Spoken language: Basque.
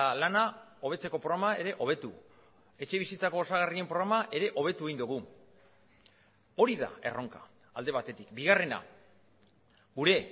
lana hobetzeko programa ere hobetu etxebizitzako osagarrien programa ere hobetu egin dugu hori da erronka alde batetik bigarrena gure